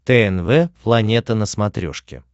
тнв планета на смотрешке